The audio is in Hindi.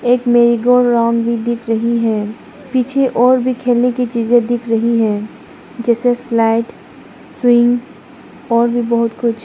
एक मे ये गोल राउंड भी दिख रही है पीछे और भी खेलने की चीजें दिख रही हैं जैसे स्लाइड स्विंग और भी बहोत कुछ --